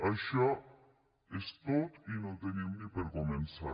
això és tot i no en tenim ni per començar